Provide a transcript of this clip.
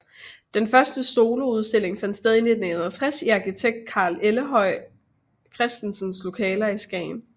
Den første soloudstilling fandt sted i 1961 i arkitekt Kaj Ellegaard Christensens lokaler i Skagen